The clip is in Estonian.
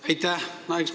Aitäh!